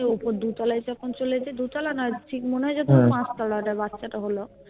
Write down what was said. উপর দুতলায় তখন চলে এসেছে দোতালা না ঠিক মনে হয় যে পাঁচতলা যে বাচ্চাটা হলো